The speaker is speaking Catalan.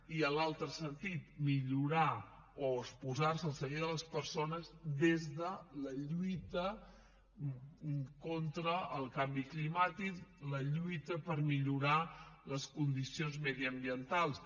i en l’altre sentit posar se al servei de les persones des de la lluita contra el canvi climàtic la lluita per millorar les condicions mediambientals